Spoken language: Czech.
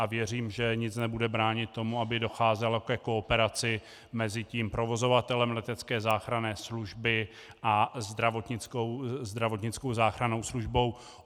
A věřím, že nic nebude bránit tomu, aby docházelo ke kooperaci mezi tím provozovatelem letecké záchranné služby a zdravotnickou záchrannou službou.